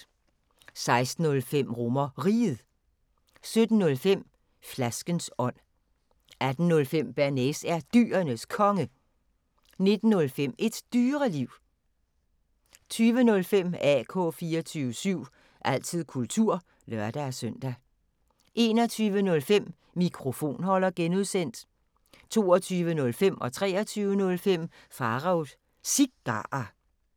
16:05: RomerRiget 17:05: Flaskens ånd 18:05: Bearnaise er Dyrenes Konge 19:05: Et Dyreliv 20:05: AK 24syv – altid kultur (lør-søn) 21:05: Mikrofonholder (G) 22:05: Pharaos Cigarer 23:05: Pharaos Cigarer